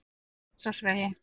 Grensásvegi